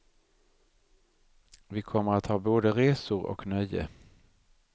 Vi kommer att ha både resor och nöje.